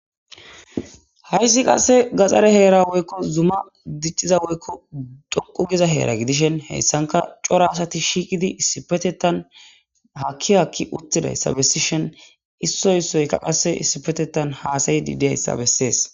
hayssi qasse gaxare heera woykko zuma dicciza woykko dhoqu giza heera gidishen heyssanka cora asati shiiqidi isipetetan hakki hakki uttidayssa besishen issoy issoyka qasse issipetetan haasayidi deyayssa bessees